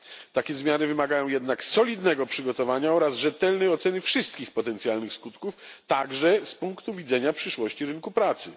Takie zmiany wymagają jednak solidnego przygotowania oraz rzetelnej oceny wszystkich potencjalnych skutków, także z punktu widzenia przyszłości rynku pracy.